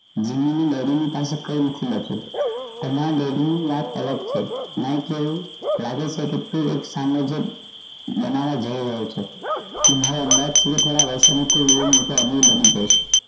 કઈ નથી બચ્યું તમારા daddy ની વાત અલગ છે અહી તો લાગે છે કે તે સામાજિક બનાવા જઈ રહ્યો છે તમારા થી લઈ મોટો અમીર બની જઈશ